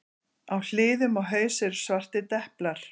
Á hliðum og haus eru svartir deplar.